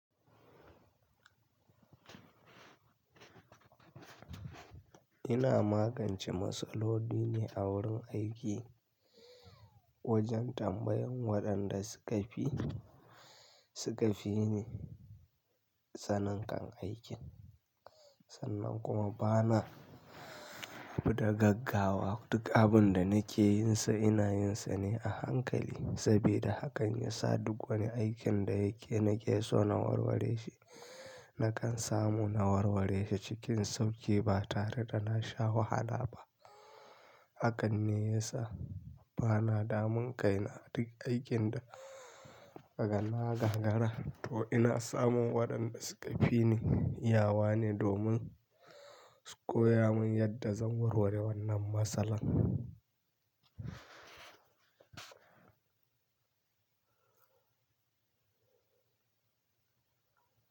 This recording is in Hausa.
Ina magance matsaloli ne a wurin aiki. Wajen tambayan waɗanda suka fi, suka fi ni sanin kan aikin. Sannan kuma bana abuda gaggawa. Duk abin da nake yin sa, ina yin sa ne a hankali. Sabida hakan ya sa duk wani aikin da yake nake so na warware shi, nakan samu na warware shi cikin sauƙi ba tare da na sha wahala ba. Hakan ne ya sa bana damun kainaduk aikin da kagana gagara to ina samun waɗanda suka fi ni yawa ne domin su koya mun yadda zan warware wannan matsala.